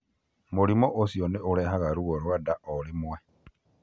Mũrimũ ũcio nĩ ũrehaga ruo rwa nda o rĩmwe.